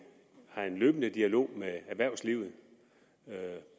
har en løbende dialog med erhvervslivet